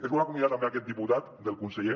es vol acomiadar també aquest diputat del conseller